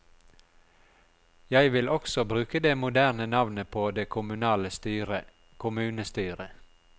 Jeg vil også bruke det moderne navnet på det kommunale styret, kommunestyret.